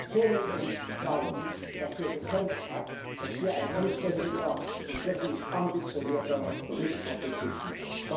Zähnen und Klauen dafür gekämpft hat, dass hier ein anständiger und wirklich ambitionierter Bericht auf dem Tisch liegt.